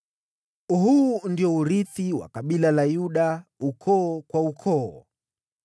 Huu ndio urithi wa kabila la Yuda, ukoo kwa ukoo: